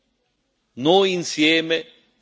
il disastro di Trump.